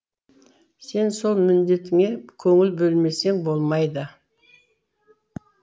сен сол міндетіңе көңіл бөлмесең болмайды